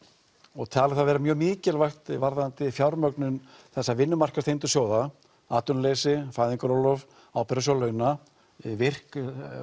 og talið það vera mjög mikilvægt varðandi fjármögnun þessa sjóða atvinnuleysi fæðingarorlof ábyrgðarsjóður launa VIRK